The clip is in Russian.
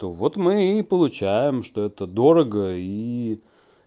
то вот мы и получаем что это дорого и